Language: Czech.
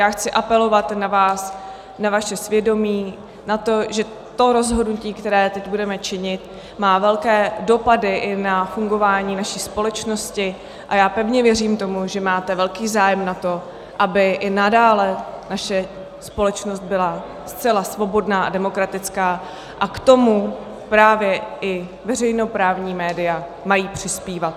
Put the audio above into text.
Já chci apelovat na vás, na vaše svědomí, na to, že to rozhodnutí, které teď budeme činit, má velké dopady i na fungování naší společnosti, a já pevně věřím tomu, že máte velký zájem na tom, aby i nadále naše společnost byla zcela svobodná a demokratická, a k tomu právě i veřejnoprávní média mají přispívat.